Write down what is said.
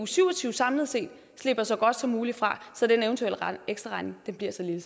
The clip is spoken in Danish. syv og tyve samlet set slipper så godt som muligt fra så den eventuelle ekstraregning bliver så lille